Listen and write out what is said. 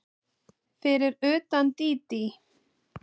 Fyrir utan Dídí.